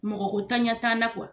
Mɔgɔko ntanya t'an na